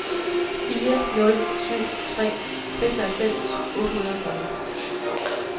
fire nul syv tre seksoghalvfems otte hundrede og fyrre